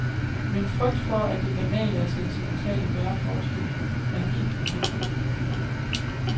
Min frygt for, at det banale og sentimentale bærer forestillingen, er helt ubegrundet.